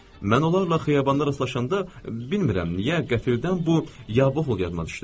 Mən onlarla xiyabanda rastlaşanda, bilmirəm niyə, qəfildən bu "Ya-voh!" yadıma düşdü.